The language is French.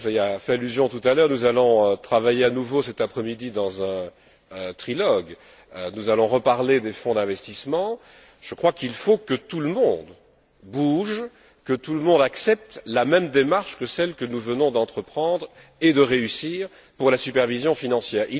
Gauzès y a fait allusion tout à l'heure c'est que nous allons à nouveau travailler cet après midi dans un trilogue, nous allons reparler des fonds d'investissement, et je crois qu'il faut que tout le monde bouge, que tout le monde accepte la même démarche que celle que nous venons d'entreprendre et de réussir pour la supervision financière.